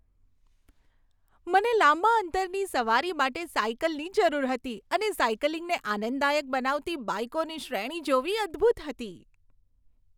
મને લાંબા અંતરની સવારી માટે સાઇકલની જરૂર હતી અને સાઇકલિંગને આનંદદાયક બનાવતી બાઇકોની શ્રેણી જોવી અદ્ભૂત હતી.